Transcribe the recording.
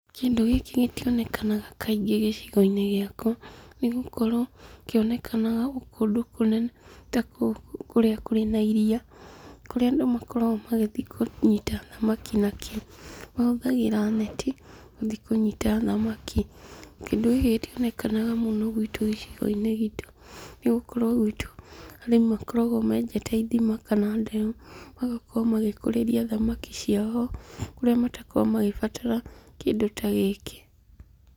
Kĩndũ gĩkĩ gĩtionekanaga kaingĩ gĩcigo-inĩ gĩakwa, nĩgũkorwo kĩonekaga kũndũ kũnene ta kũu kũrĩa kwĩna iria, kũrĩa andũ makoragwo magĩthiĩ kũnyita thamaki nakĩo. Mahũthagĩra neti gũthiĩ kũnyita thamaki. Kĩndũ gĩkĩ gĩtionekaga mũno gwitũ gĩcigo-inĩ gitũ, nĩgũkorwo gwĩtũ, arĩmi makoragwo menjete ithima kana ndemu, magakorwo magĩkũrĩria thamakia ciao ho, kũrĩa matakoragwo magĩbatara kĩndũ ta gĩkĩ.